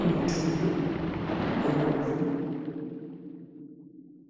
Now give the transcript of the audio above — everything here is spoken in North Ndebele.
eluthuli lebomvu